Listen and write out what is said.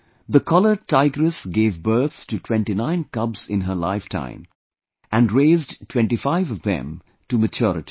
The collared tigress gave birth to 29 cubs in her lifetime and raised 25 of them to maturity